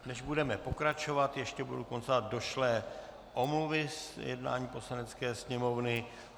Než budeme pokračovat, ještě budu konstatovat došlé omluvy z jednání Poslanecké sněmovny.